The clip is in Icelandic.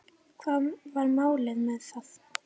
Hvað var málið með það?